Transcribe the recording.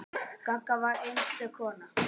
Gagga var einstök kona.